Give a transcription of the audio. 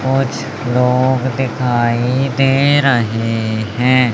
कुछ लोग दिखाई दे रहें हैं।